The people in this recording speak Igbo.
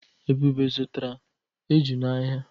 Ebube zụtara eju n'ahịa.